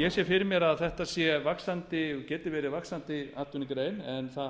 ég sé fyrir mér að þetta geti verið vaxandi atvinnugrein en það